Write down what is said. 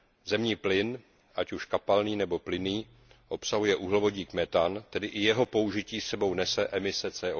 Zemní plyn, ať už kapalný nebo plynný, obsahuje uhlovodík metan, tedy i jeho použití sebou nese emise CO